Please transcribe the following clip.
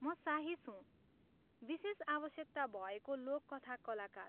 म साहिश हुँ, विशेष आवश्यकता भएको लोककथा कलाकार।